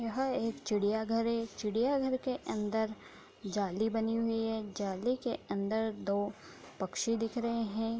यहाँ एक चिड़ियाँ घर है। चिड़ियाँ घर के अंदर जाली बानी हुई है। जाली के अंदर दो पक्षी दिख रहे है।